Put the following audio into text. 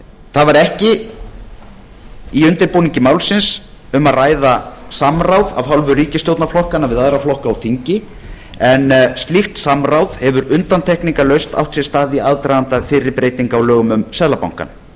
það var ekki í undirbúningi málsins um að ræða samráð af hálfu ríkisstjórnarflokkanna við aðra flokka á þingi en slíkt samráð hefur undantekningarlaust átt sér stað í aðdraganda fyrri breytinga á lögum um seðlabankann það